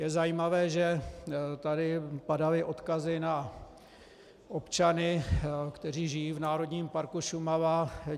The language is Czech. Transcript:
Je zajímavé, že tady padaly odkazy na občany, kteří žijí v Národním parku Šumava.